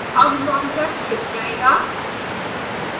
अब launcher छिप जाएगा